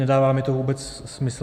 Nedává mi to vůbec smysl.